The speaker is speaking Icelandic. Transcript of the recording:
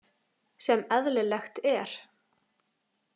Sem eðlilegt er.